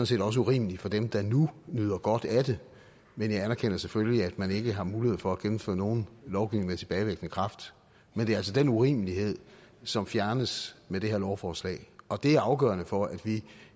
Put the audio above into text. set også urimeligt for dem der nu nyder godt af det men jeg anerkender selvfølgelig at man ikke har mulighed for at gennemføre nogen lovgivning med tilbagevirkende kraft men det er altså den urimelighed som fjernes med det her lovforslag og det er afgørende for at vi